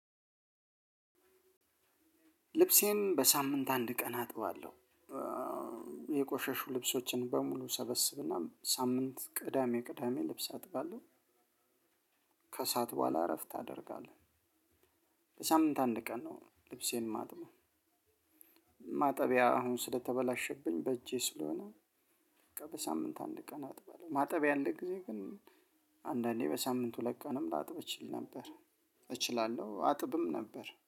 ልብሴን በሳምንት አንድ ቀን አጥባለሁ። የቆሸሹ ልብሶችን በሙሉ ሰበስብና ሳምንት ቅዳሜ ቅዳሜ ልብስ አጥባለሁ። ከስዓት በኋላ እረፍት ታደርጋለህ? ለሳምንት አንድ ቀን ነው ልብሴን ማጥብው። ማጠቢያ አሁን ስለተበላሸብኝ በእጄ ስለሆነ። በሳምንት አንድ ቀን አጥበለው ማጠቢያ አለ ጊዜ ግን አንዳንዴ በሳምንት ሁለትቀንም ላጥብ እችል ነበር። እችላለሁ አጥብም ነበር